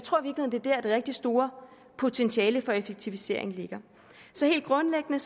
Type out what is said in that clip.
det er det rigtig store potentiale for effektivisering ligger så helt grundlæggende